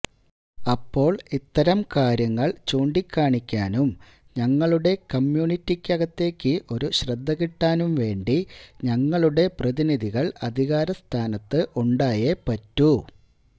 അപ്പോള് ഇത്തരം കാര്യങ്ങള് ചൂണ്ടിക്കാണിക്കാനും ഞങ്ങളുടെ കമ്മ്യൂണിറ്റിക്കകത്തേക്ക് ഒരു ശ്രദ്ധകിട്ടാനും വേണ്ടി ഞങ്ങളുടെ പ്രതിനിധികള് അധികാരസ്ഥാനത്ത് ഉണ്ടായെ പറ്റൂ